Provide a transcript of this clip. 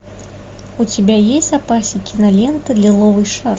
у тебя есть в запасе кинолента лиловый шар